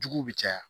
Juguw bi caya